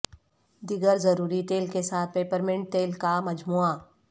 دیگر ضروری تیل کے ساتھ پیپرمنٹ تیل کا مجموعہ